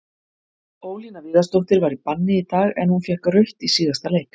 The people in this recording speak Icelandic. Ólína Viðarsdóttir var í banni í dag, en hún fékk rautt í síðasta leik.